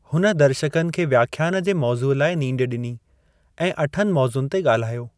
हुन दर्शकनि खे व्याख्यान जे मौज़ूअ लाइ नींड ॾिनी ऐं अठनि मौज़ुनि ते ॻाल्हायो।